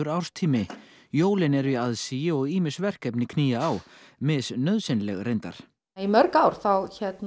árstími jólin eru í aðsigi og ýmis verkefni knýja á reyndar í mörg ár þá